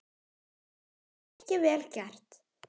Ekki eitt stykki vel gert.